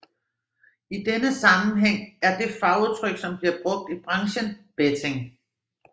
I denne sammenhæng er det fagudtryk som bliver brugt i branchen betting